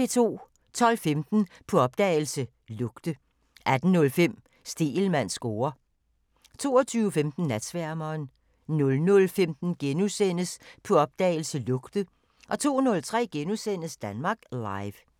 12:15: På opdagelse – Lugte 18:05: Stegelmanns score 22:15: Natsværmeren 00:15: På opdagelse – Lugte * 02:03: Danmark Live *